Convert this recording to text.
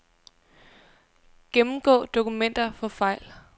Gennemgå dokumenter for fejl.